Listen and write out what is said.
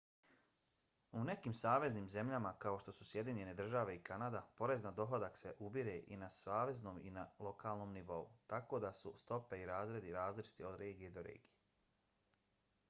u nekim saveznim zemljama kao što su sjedinjene države i kanada porez na dohodak se ubire i na saveznom i na lokalnom nivou tako da su stope i razredi različiti od regije do regije